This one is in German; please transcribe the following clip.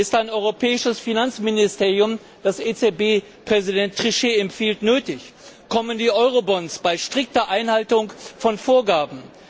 Ist ein europäisches Finanzministerium, wie es EZB Präsident Trichet empfiehlt, nötig? Kommen die Eurobonds, bei strikter Einhaltung von Vorgaben?